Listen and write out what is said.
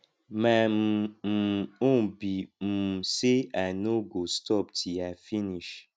my um um own be um say i no go stop till i finish